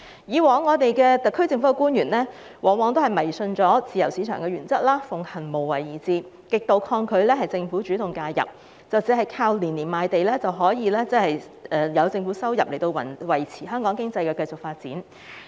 以往特區政府官員迷信自由市場原則，奉行無為而治，極度抗拒政府主動介入，以為靠年年賣地的政府收入，便可維持香港經濟發展。